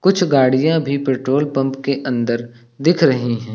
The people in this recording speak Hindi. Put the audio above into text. कुछ गाड़ियां भी पेट्रोल पंप के अंदर दिख रही है।